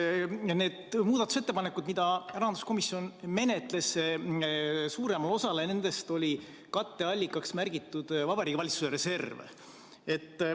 Suuremale osale nendest muudatusettepanekutest, mida rahanduskomisjon menetles, oli katteallikaks märgitud Vabariigi Valitsuse reserv.